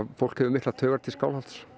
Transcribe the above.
fólk hefur miklar taugar til Skálholts